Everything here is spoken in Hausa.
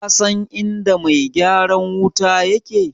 Kasan inda mai gyaran wuta yake?